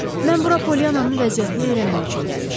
Mən bura Poliannanın vəziyyətini öyrənmək üçün gəlmişəm.